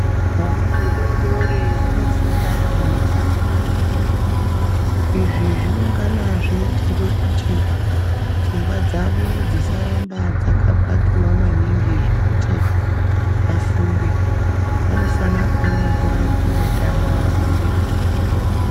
Hwana hudodori hunofunda hweitamba. Izvi zvinongana zveiitirwe kuti pfungwa dzavo dzisaramba dzakapakiva maningi zvekuti vafunge. Vanofana kuvana nguwa yekumbotamba veirerutsa pfungwa dzavo.